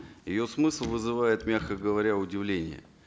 ее смысл вызывает мягко говоря удивление